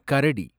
கரடி